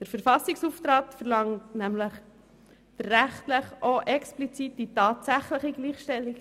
Der Verfassungsauftrag verlangt nämlich die rechtliche und explizit auch die tatsächliche Gleichstellung.